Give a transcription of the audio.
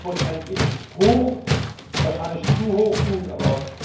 7 ist hoch, wahrscheinlich zu hoch, gut, aber...